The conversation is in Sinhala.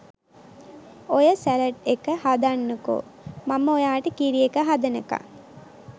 ඔය සැලඩ් එක හදන්නකෝ මම ඔයාට කිරි එක හදනකන්.